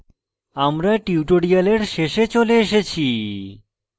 আমরা tutorial শেষে চলে এসেছি